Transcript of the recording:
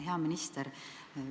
Hea minister!